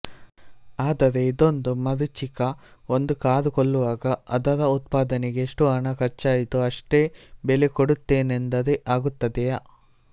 ಆದರೆ ಇದೊಂದು ಮರೀಚಿಕ ಒಂದು ಕಾರು ಕೊಳ್ಳುವಾಗ ಅದರ ಉತ್ಪಾದನೆಗೆ ಎಷ್ಟು ಹಣ ಖರ್ಚಾಯಿತೋ ಅಷ್ಟೇ ಬೆಲೆ ಕೊಡುತ್ತೇನೆಂದರೆ ಆಗುತ್ತದೆಯೆ